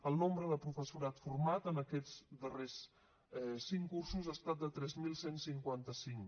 el nombre de professorat format en aquests darrers cinc cursos ha estat de tres mil cent i cinquanta cinc